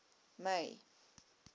may